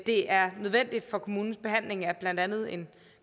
det er nødvendigt for kommunens behandling af blandt andet en